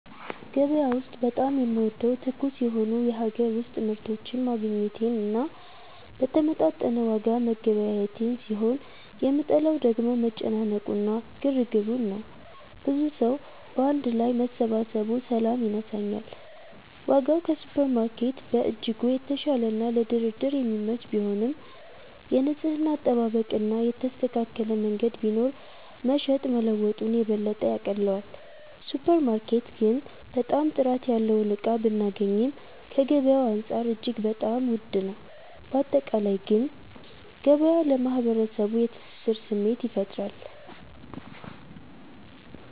ገበያ ውስጥ በጣም የምወደው ትኩስ የሆኑ የሀገር ውስጥ ምርቶችን ማግኘቴን እና በተመጣጠነ ዋጋ መገበያየቴን ሲሆን የምጠላው ደግሞ መጨናነቁ እና ግርግሩን ነው። ብዙ ሰዉ ባንድ ላይ መሰባሰቡ ሰላም ይነሳኛል። ዋጋው ከሱፐርማርኬት በእጅጉ የተሻለና ለድርድር የሚመች ቢሆንም፣ የንጽህና አጠባበቅ እና የተስተካከለ መንገድ ቢኖር መሸጥ መለወጡን የበለጠ ያቀለዋል። ሱፐር ማርኬት ግን በጣም ጥራት ያለውን እቃ ብናገኚም ከገበያዉ አንፃር እጅግ በጣም ዉድ ነው። ባጠቃላይ ግን ገበያ ለማህበረሰቡ የትስስር ስሜት ይፈጥራል።